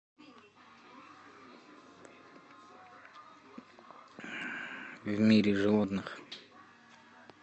в мире животных